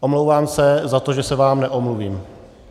Omlouvám se za to, že se vám neomluvím.